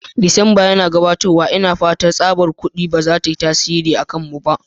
Disamba yana gabatowa, ina fata manufar tsabar kudi ba za ta yi tasiri a kanmu ba.